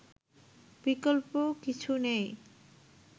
বিকল্প কিছু নেই